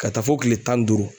Ka taa fɔ kile tan ni duuru